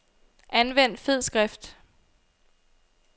Anvend fed skrift.